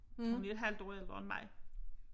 Hun er et halvt år ældre end mig